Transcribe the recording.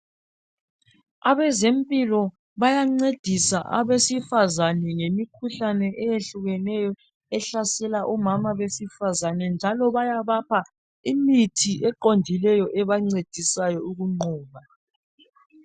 Abezempilo bayancedisa abesifazana nge mikhuhlane eyehlukeneyo ehlasela omama besifazana njalo bayabapha imithi eqondikeyo ebancedisayo ukunqoba